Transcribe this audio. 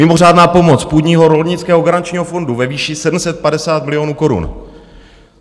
Mimořádná pomoc půdního rolnického garančního fondu ve výši 750 milionů korun.